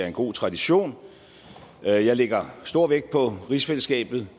en god tradition jeg jeg lægger stor vægt på rigsfællesskabet